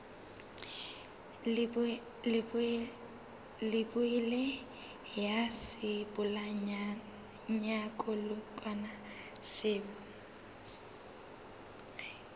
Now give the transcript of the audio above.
leibole ya sebolayakokwanyana seo o